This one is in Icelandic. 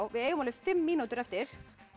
við eigum fimm mínútur eftir